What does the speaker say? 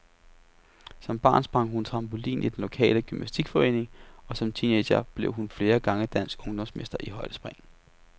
Som barn sprang hun trampolin i den lokale gymnastikforening og som teenager blev hun flere gange dansk ungdomsmester i højdespring.